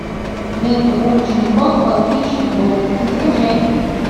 лента уличный кот по кличке боб закачай